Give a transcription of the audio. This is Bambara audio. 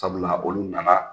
Sabula olu nana